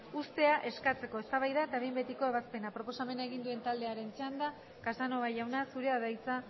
uztea eskatzeko eztabaida eta behin betiko ebazpena proposamena egin duen taldearen txanda casanova jauna zurea da hitza